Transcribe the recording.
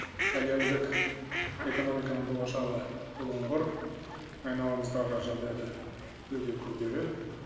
әлемдік экономиканың болашағы бұлыңғыр айналамыздағы жағдай да өте күрделі